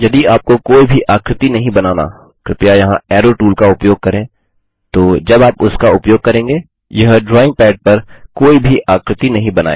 यदि आपको कोई भी आकृति नहीं बनाना कृपया यहाँ एरो टूल का उपयोग करें तो जब आप उसका उपयोग करेंगे यह ड्राइंग पैड पर कोई भी आकृति नहीं बनायेगा